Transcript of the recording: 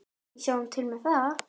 Við sjáum til með það.